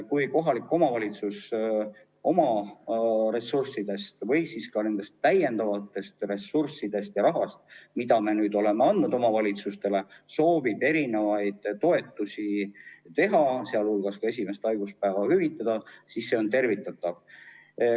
Kui kohalik omavalitsus oma ressurssidest või sellest lisarahast, mida me oleme andnud, soovib teha toetusi, sh esimest haiguspäeva hüvitada, siis see on tervitatav.